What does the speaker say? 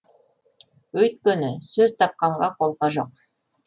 өйткені сөз тапқанға қолқа жоқ